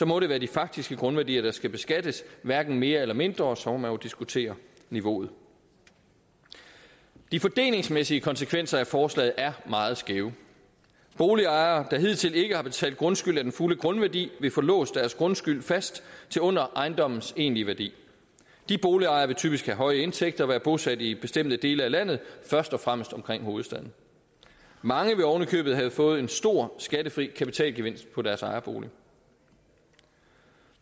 må det være de faktiske grundværdier der skal beskattes hverken mere eller mindre og så må man jo diskutere niveauet de fordelingsmæssige konsekvenser af forslaget er meget skæve boligejere der hidtil ikke har betalt grundskyld af den fulde grundværdi vil få låst deres grundskyld fast til under ejendommens egentlige værdi de boligejere vil typisk have høje indtægter og være bosat i bestemte dele af landet først og fremmest omkring hovedstaden mange vil oven i købet have fået en stor skattefri kapitalgevinst på deres ejerbolig